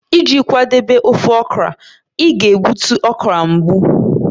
Iji kwadebe ofe okra, ị ga-egbutu okra mbụ